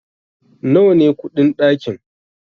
nawa ne kudin dakin?